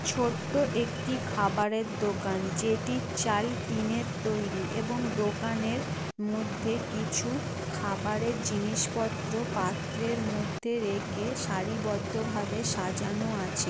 ছোট্ট একটি খাবারের দোকান যেটির চাল টিনের তৈরি এবং দোকানের মধ্যে কিছু খাবারের জিনিস পত্র পাত্রের মধ্যে রেখে সারিবদ্ধ ভাবে সাজানো আছে।